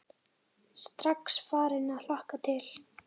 Strax farin að hlakka til.